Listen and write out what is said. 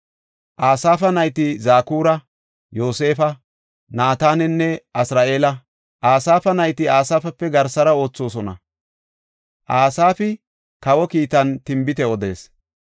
Asaafa nayti Zakura, Yoosefa, Naatananne Asar7eela. Asaafa nayti Asaafape garsara oothosona; Asaafi kawa kiitan tinbite odees.